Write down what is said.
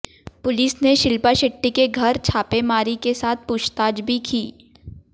police ने शिल्पा शेट्टी के घर छापेमारी के साथ पूछताछ भी की है